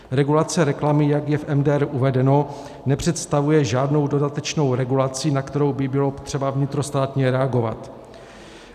Regulace reklamy, jak je v MDR uvedena, nepředstavuje žádnou dodatečnou regulaci, na kterou by bylo třeba vnitrostátně reagovat.